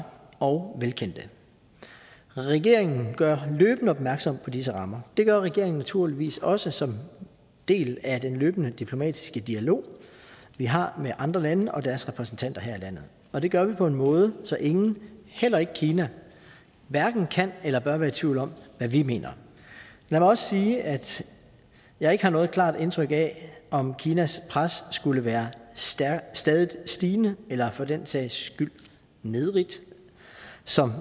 og velkendte regeringen gør løbende opmærksom på disse rammer det gør regeringen naturligvis også som del af den løbende diplomatiske dialog vi har med andre lande og deres repræsentanter her i landet og det gør vi på en måde så ingen heller ikke kina kan eller bør være i tvivl om hvad vi mener lad mig også sige at jeg ikke har noget klart indtryk af om kinas pres skulle være stadigt stigende eller for den sags skyld nedrigt som